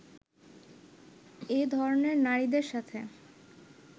এ ধরনের নারীদের সাথে